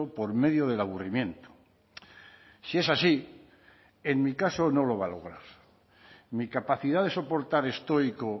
por medio del aburrimiento si es así en mi caso no lo va a lograr mi capacidad de soportar estoico